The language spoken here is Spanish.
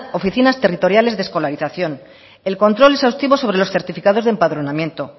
oficinas territoriales de escolarización el control exhaustivo sobre los certificados de empadronamiento